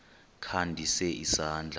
kha ndise isandla